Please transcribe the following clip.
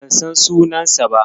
Ban san sunansa ba.